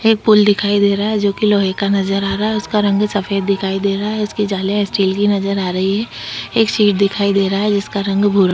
pool दिखाई दे रहा है जोकि लोहै का नजर आ रहा है उसका रंग सफ़ेद दिखाई दे रहा है उसकी जाले स्टील की नजर आ रही है एक शीट दिखाई दे रहा है जिसका रंग भूरा --